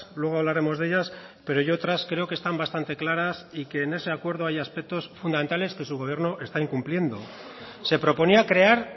luego hablaremos de ellas pero otras creo que están bastante claras y que en ese acuerdo hay aspectos fundamentales que su gobierno está incumpliendo se proponía crear